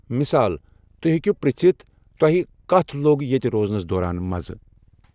مثال، تہۍ ہیٚکو پرٛژھِتھ،' توہہِ كتھ لو٘گ یتہِ روزنس دوران مزٕ؟